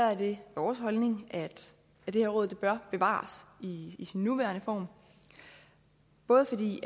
er det vores holdning at det her råd bør bevares i i sin nuværende form både fordi